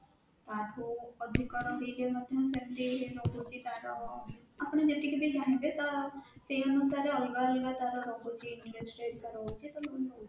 ତା ଠୁ ଅଧିକ ରହିଲେ ମଧ୍ୟ ସେମିତି ରହୁଛି ତା ର ଆପଣ ଯେତିକି ବି ଚାହିଁବେ ସେଇ ଅନୁସାରେ ତା ର ଅଲଗା ଅଲଗା ରହୁଛି ତା ର ରହୁଛି